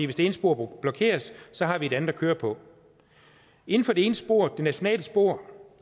hvis det ene spor blokeres har vi det andet at køre på inden for det ene spor det nationale spor